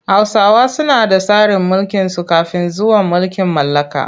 Hausawa suna da tsarin mulkinsu kafin zuwan mulkin mallaka.